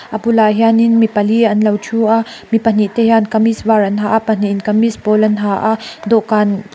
a bulah hianin mi pali an lo thu a mi pahnih te hian kamis var an ha a pahnih in kamis pawl an ha a dawhkan--